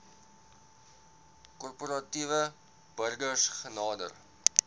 korporatiewe burgers genader